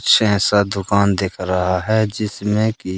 छेसा दुकान देख रहा है जिसमें की--